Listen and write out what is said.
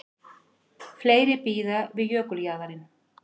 Fleiri bíða við jökuljaðarinn